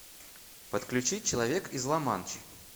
подключи человек из ла манчи